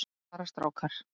Æ, bara strákar.